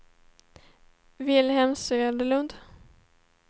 Vilhelm Söderlund